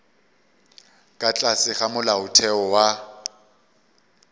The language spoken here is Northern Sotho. ka tlase ga molaotheo wa